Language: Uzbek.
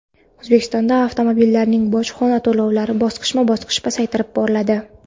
O‘zbekistonda avtomobillarning bojxona to‘lovlari bosqichma-bosqich pasaytirib boriladi.